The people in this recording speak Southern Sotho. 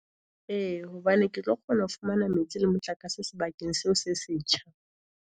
E hobane ke tlo kgona ho fumana metsi le motlakase, sebakeng seo se setjha.